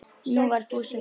Nú var Fúsi glaður.